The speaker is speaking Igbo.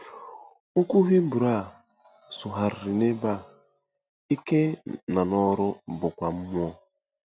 Okwu Hibru a sụgharịrị n’ebe a “ike nọ n’ọrụ” bụkwa “mmụọ”.